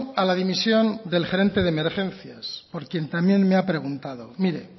a la dimisión del gerente de emergencias por quien también me ha preguntado mire